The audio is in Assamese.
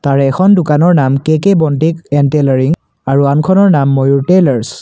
আৰু এখন দোকানৰ নাম কে_কে ব'ন্টিক এন্ড টেইল'ৰিং আৰু আনখনৰ নাম ময়ূৰ টেইলৰছ ।